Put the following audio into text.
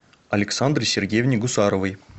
александре сергеевне гусаровой